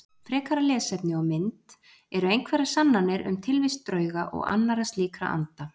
Frekara lesefni og mynd Eru einhverjar sannanir um tilvist drauga og annarra slíkra anda?